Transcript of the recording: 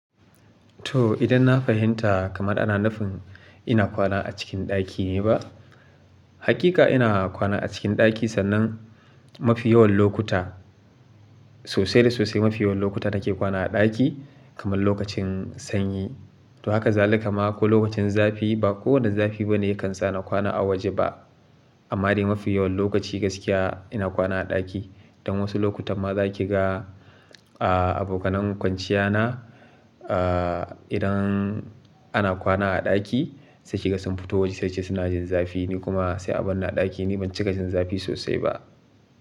To idan na fahimta kamar ana nufin ina kwana a cikin ɗaki ne ba? Hakika ina kwana a cikin ɗaki sannan mafi yawan lokuta, sosai da sosai mafi yawan lokuta nake kwana a ɗaki kamar lokacin sanyi. To haka zalika ma, ko lokacin zafi ba kowane zafi bane yakan sa na kwana a waje ba. Amma dai mafi yawan lokaci gaskiya ina kwana a ɗaki. Don wasu lokutan ma zaki ga, ah abokanen kwanciya na, ah idan ana kwana a ɗaki sai kiga sun fito waje sai suce suna jin zafi ni kuma sai a bar ni a ɗaki ni ban cika jin zafi sosai ba.